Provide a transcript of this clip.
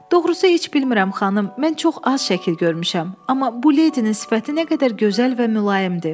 Doğrusu heç bilmirəm, xanım, mən çox az şəkil görmüşəm, amma bu ledinin sifəti nə qədər gözəl və mülayimdir.